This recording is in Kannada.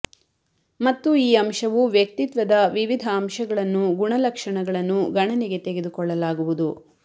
ಮತ್ತು ಈ ಅಂಶವು ವ್ಯಕ್ತಿತ್ವದ ವಿವಿಧ ಅಂಶಗಳನ್ನು ಗುಣಲಕ್ಷಣಗಳನ್ನು ಗಣನೆಗೆ ತೆಗೆದುಕೊಳ್ಳಲಾಗುವುದು